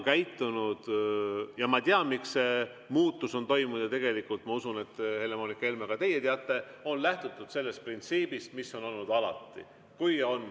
Ma tean, miks see muutus on toimunud, ja tegelikult ma usun, Helle-Moonika Helme, et ka teie teate, et on lähtutud sellest printsiibist, mis on olnud alati.